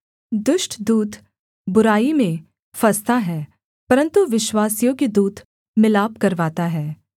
दुष्ट दूत बुराई में फँसता है परन्तु विश्वासयोग्य दूत मिलाप करवाता है